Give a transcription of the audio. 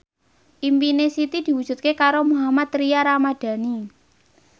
impine Siti diwujudke karo Mohammad Tria Ramadhani